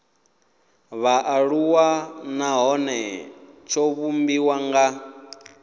vhaaluwa nahone tsho vhumbiwa nga